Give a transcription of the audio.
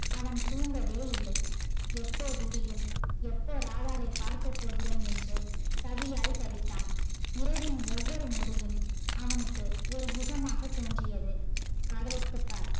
அவன் தூன்கவே இல்லை எப்ப விடியும், எப்ப ராதாவை பார்க்க போறோம் என்று தவியாய் தவித்தான் இரவின் ஒவ்வொரு நொடியும் அவனுக்கு ஒரு யுகமாக தோன்றியது காதலித்து பார்